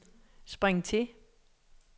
spring til